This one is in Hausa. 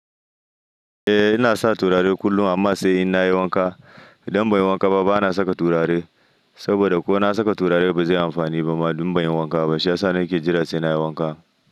Eh inasa turare kullum amma sai nayi wanka idan ban yi wanka ba bana saka turare saboda ko na saka turare ba zai yi amfani ba ma idan ban yi wanka ba. Shiyasa nake jira sai nayi wanka.